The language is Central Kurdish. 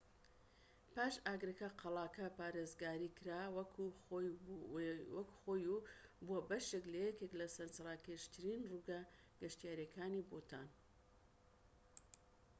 باش ئاگرەکە قەڵاکە پارێزگاری کرا وەکو خۆی و بووە بەشێك لە یەکێك لە سەرنجڕاکێشترین ڕووگە گەشتیاریەکانی بوتان